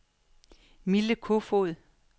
Mille Kofod